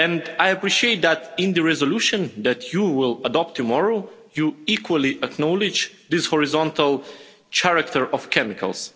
I appreciate that in the resolution that you will adopt tomorrow you equally acknowledge this horizontal character of chemicals.